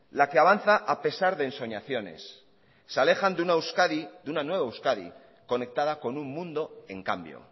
la que avanza a pesar de ensoñaciones se alejan de una euskadi de una nueva euskadi conectada con un mundo en cambio